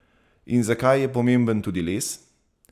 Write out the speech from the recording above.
In zakaj je pomemben tudi les?